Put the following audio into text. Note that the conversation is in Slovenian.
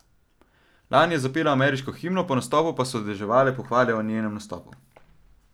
Lani je zapela ameriško himno, po nastopu pa so deževale pohvale o njenem nastopu.